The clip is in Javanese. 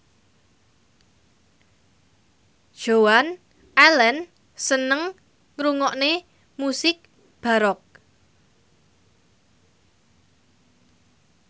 Joan Allen seneng ngrungokne musik baroque